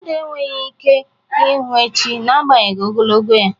Mmadụ enweghị ike ịhụ echi, n'agbanyeghị ogologo ya.